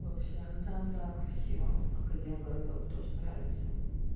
вообще ну там да красиво академгородок тоже нравится